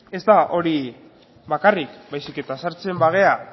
ezta hori bakarrik baizik sartzen bagara